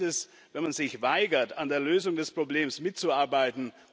Schlimmer ist es, wenn man sich weigert, an der Lösung des Problems mitzuarbeiten.